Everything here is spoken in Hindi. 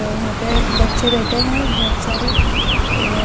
और यहां पे बच्चे बैठे हैं बहोत सारे ए--